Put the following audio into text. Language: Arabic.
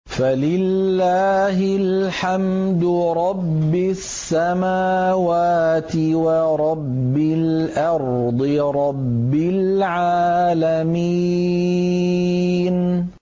فَلِلَّهِ الْحَمْدُ رَبِّ السَّمَاوَاتِ وَرَبِّ الْأَرْضِ رَبِّ الْعَالَمِينَ